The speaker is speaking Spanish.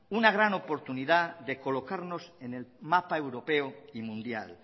una gran oportunidad de colocarnos en el mapa europeo y mundial